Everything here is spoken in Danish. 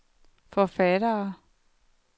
forfattere